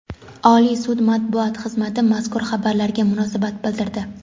Oliy sud matbuot xizmati mazkur xabarlarga munosabat bildirdi.